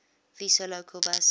vesa local bus